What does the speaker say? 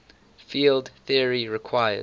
field theory requires